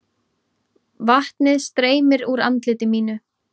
Vatnið streymir úr andliti mínu.